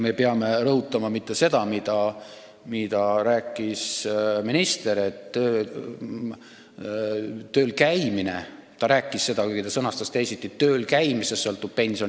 Me ei pea rõhutama mitte seda, mida rääkis minister, et tööl käimisest – ta küll sõnastas selle teisiti – sõltub pension.